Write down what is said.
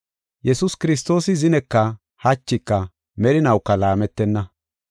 Yesuus Kiristoosi zineka hachika merinawuka laametenna.